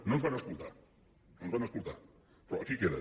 no ens van escoltar no ens van escoltar però aquí queda